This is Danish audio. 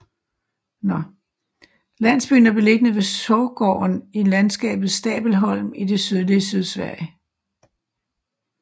Landsbyen er beliggende ved Sorgåen i landskabet Stabelholm i det sydlige Sydslesvig